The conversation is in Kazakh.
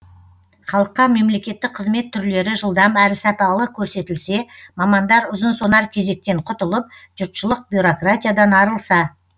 халыққа мемлекеттік қызмет түрлері жылдам әрі сапалы көрсетілсе мамандар ұзынсонар кезектен құтылып жұртшылық бюрократиядан арылса